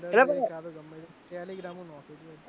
ગમે ત્યાંથી telegram થી નાખી દવ હેડ